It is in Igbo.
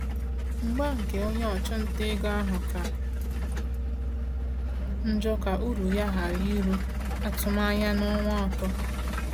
Mgba nke onye ọchụnta ego ahụ ka njọ ka uru ya ghara iru atụmanya n’ọnwa atọ.